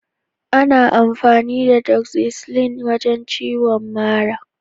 Ana amfani da "Doxycycline " ya wajen maganin ciwon mara.